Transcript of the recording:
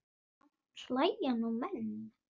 Samt hlæja nú menn.